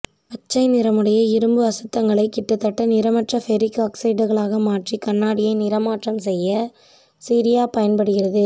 பச்சை நிறமுடைய இரும்பு அசுத்தங்களை கிட்டத்தட்ட நிறமற்ற பெரிக் ஆக்சைடுகளாக மாற்றி கண்ணாடியை நிறமாற்றம் செய்ய சீரியா பயன்படுகிறது